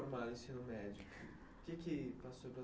se formar no ensino médio?